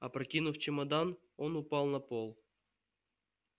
опрокинув чемодан он упал на пол